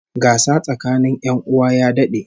Gasa tsakanin 'yan uwa ya dad'e